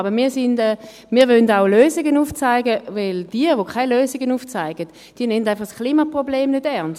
Aber wir finden, wir wollen auch Lösungen aufzeigen, weil jene, welche keine Lösungen aufzeigen, das Klimaproblem einfach nicht ernst nehmen.